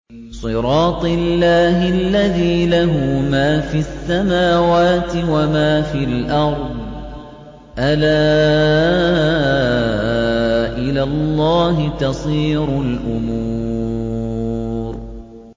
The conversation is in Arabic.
صِرَاطِ اللَّهِ الَّذِي لَهُ مَا فِي السَّمَاوَاتِ وَمَا فِي الْأَرْضِ ۗ أَلَا إِلَى اللَّهِ تَصِيرُ الْأُمُورُ